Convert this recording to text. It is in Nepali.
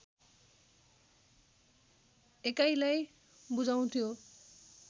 एकाइलाई बुझाउँथ्यो